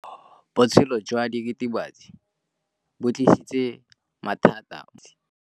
Botshelo jwa diritibatsi ke bo tlisitse mathata mo basimaneng ba bantsi.